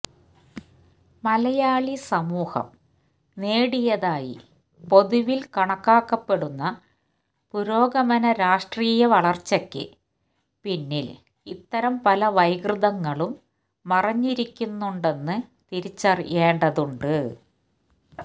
മലയാളി സമൂഹം നേടിയതായി പൊതുവില് കണക്കാക്കപ്പെടുന്ന പുരോഗമന രാഷ്ട്രീയ വളര്ച്ചക്ക് പിന്നില് ഇത്തരം പല വൈകൃതങ്ങളും മറഞ്ഞിരിക്കുന്നുണ്ടെന്നു തിരിച്ചറിയേണ്ടതുണ്ട്